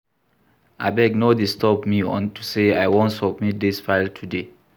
Abeg no disturb me unto say I wan submit dis file today